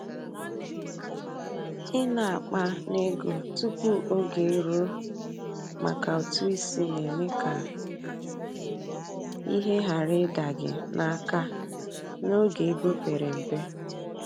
i na akpa n'ego tupu oge eruo maka ụtụ isi na-eme ka ihe ghara ịda gị n’aka n’oge ego pere mpe.